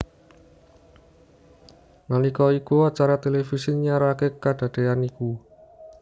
Nalika iku acara televisi nyiaraké kadadéyan iku